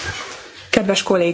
Kedves Kollégák!